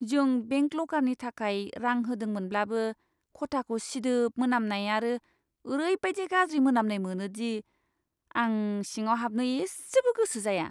जों बेंक लकारनि थाखाय रां होदोंमोनब्लाबो, खथाखौ सिदोब मोनामनाय आरो ओरैबायदि गाज्रि मोनामनाय मोनो दि आं सिङाव हाबनो एसेबो गोसो जाया।